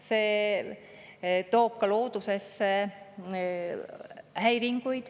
See toob loodusesse häiringuid.